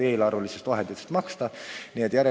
Eelarvelistest vahenditest selle eest maksta ei võinud.